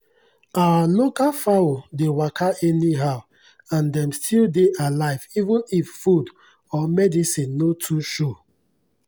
our local fowl dey waka anyhow and dem still dey alive even if food or medicine no too show.